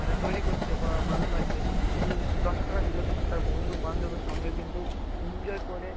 মানে তৈরি করছে বা মানানো হচ্ছে স্কুলে যদি দশ টাকা দিল কিন্তু তার বন্ধু-বান্ধবের সঙ্গে কিন্তু enjoy করে,